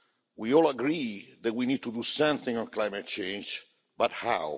We all agree that we need to do something about climate change, but how?